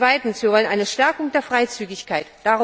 Zweitens Wir wollen eine Stärkung der Freizügigkeit!